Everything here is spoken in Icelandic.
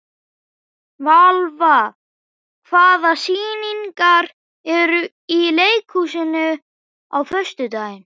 Valva, hvaða sýningar eru í leikhúsinu á föstudaginn?